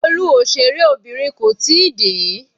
Olú òṣèré Obìnrin kò tíì dé.